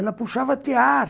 Ela puxava tear.